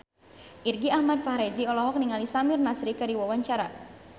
Irgi Ahmad Fahrezi olohok ningali Samir Nasri keur diwawancara